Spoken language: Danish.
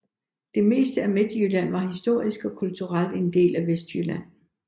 Det meste af Midtjylland var historisk og kulturelt en del af Vestjylland